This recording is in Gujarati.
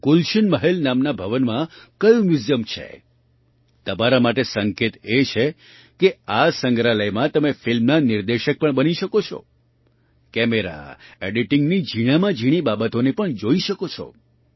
ગુલશન મહલ નામના ભવનમાં કયું મ્યૂઝિયમછે તમારા માટે સંકેત એ છે કે આ સંગ્રહાલયમાં તમે ફિલ્મના નિર્દેશક પણ બની શકો છો કેમેરા એડિટિંગની ઝીણામાં ઝીણી બાબતોને પણ જોઈ શકો છો